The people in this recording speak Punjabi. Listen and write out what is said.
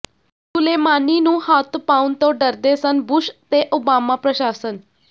ਸੁਲੇਮਾਨੀ ਨੂੰ ਹੱਥ ਪਾਉਣ ਤੋਂ ਡਰਦੇ ਸਨ ਬੁਸ਼ ਤੇ ਓਬਾਮਾ ਪ੍ਰਸ਼ਾਸਨ